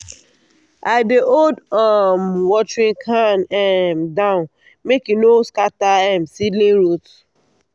i dey hold um watering can um down make e no scatter um seedling root.